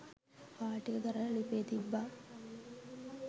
හාල් ටික ගරලා ලිපේ තිබ්බා.